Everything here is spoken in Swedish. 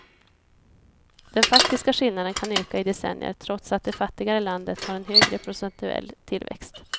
Den faktiska skillnaden kan öka i decennier trots att det fattigare landet har en högre procentuell tillväxt.